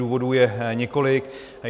Důvodů je několik.